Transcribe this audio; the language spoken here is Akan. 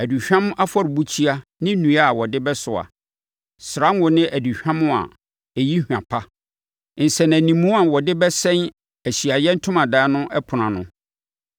aduhwam afɔrebukyia ne nnua a wɔde bɛsoa; srango ne aduhwam a ɛyi hwa pa, nsɛnanimu a wɔde bɛsɛn Ahyiaeɛ Ntomadan no ɛpono ano;